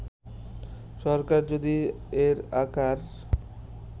সরকার যদি এর আকার